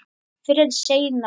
Fyrr en seinna.